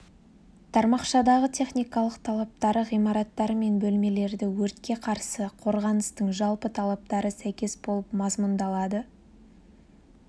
тармақшадағы техникалық талаптар ғимараттар мен бөлмелерді өртке қарсы қорғаныстың жалпы талаптары сәйкес болып мазмұндалады